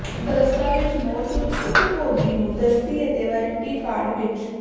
ਦਸਤਾਵੇਜ਼ ਮੌਜੂਦ ਉਪਭੋਗੀ ਨੂੰ ਦਸਤੀ ਅਤੇ ਵਾਰੰਟੀ ਕਾਰਡ ਵਿਚ